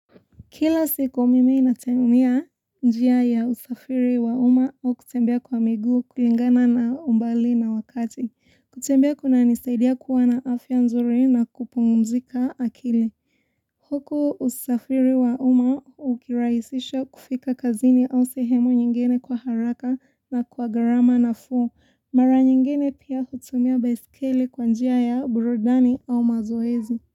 Kila siku mimi natumia njia ya usafiri wa uma au kutembea kwa miguu kulingana na umbali na wakati. Kutembea kunanisaidia kuwa na afya nzuri na kupungumzika akili. Huku usafiri wa uma ukirahisisha kufika kazini au sehemu nyingine kwa haraka na kwa gharama nafuu. Mara nyingene pia hutumia beiskeli kwa njia ya burudani au mazoezi.